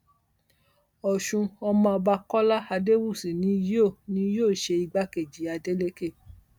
ọṣùn ọmọọba kọlá adéwúsì ni yóò ni yóò ṣe igbákejì adélékè